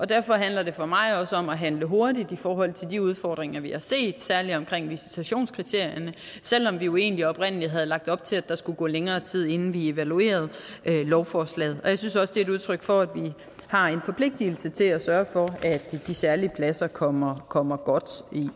derfor handler det for mig også om at handle hurtigt i forhold til de udfordringer vi har set særligt omkring visitationskriterierne selv om vi jo egentlig oprindelig havde lagt op til at der skulle gå længere tid inden vi evaluerede lovforslaget jeg synes også det er udtryk for at vi har en forpligtelse til at sørge for at de særlige pladser kommer kommer godt